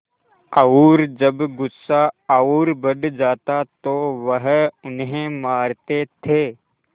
और जब गुस्सा और बढ़ जाता तो वह उन्हें मारते थे